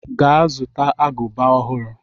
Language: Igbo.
Ga zụta agụba ọhụrụ.